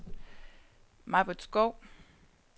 Maj-Britt Skou